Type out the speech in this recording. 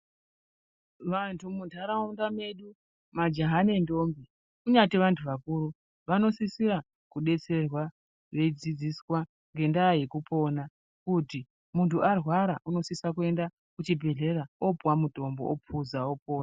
Vanthu munharaunda mwedu, majaha nendombi, kunyati vantu vakuru vanosisira kudetserwa veidzidziswa ngendaya yekupona. Kuti muntu arwara unosisa kuaende kuchibhehleya opuwa mutombo opuza opona.